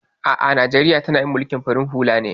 A'a Najeriya tana yin mulkin farin hula ne